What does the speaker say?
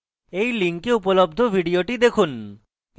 এই link উপলব্ধ video দেখুন